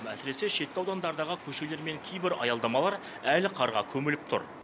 әсіресе шеткі аудандардағы көшелер мен кейбір аялдамалар әлі қарға көміліп тұр